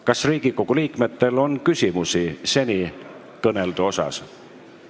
Kas Riigikogu liikmetel on senikõneldu kohta küsimusi?